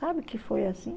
Sabe que foi assim?